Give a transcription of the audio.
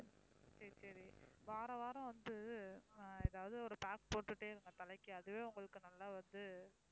சரி சரி வாராவாரம் வந்து ஆஹ் ஏதாவது ஒரு pack போட்டுக்கிட்டே இருங்க தலைக்கு அதுவே உங்களுக்கு நல்லா வந்து